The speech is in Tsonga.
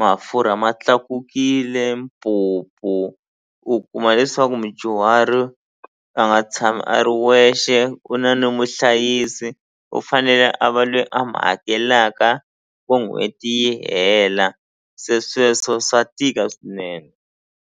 mafurha ma tlakukile mpupu u kuma leswaku mudyuhari a nga tshami a ri wexe u na ni muhlayisi u fanele a va lweyi a mi hakelaka n'hweti yi hela se sweswo swa tika swinene.